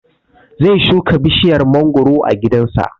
Zai shuka bishiyar mangoro a gidan sa